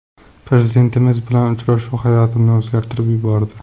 Prezidentimiz bilan uchrashuv hayotimni o‘zgartirib yubordi.